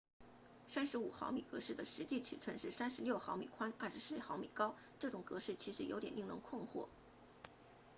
35毫米格式的实际尺寸是36毫米宽24毫米高这样格式其实有点令人困惑